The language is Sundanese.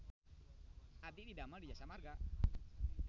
Abdi didamel di Jasa Marga